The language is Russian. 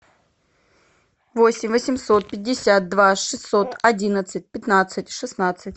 восемь восемьсот пятьдесят два шестьсот одиннадцать пятнадцать шестнадцать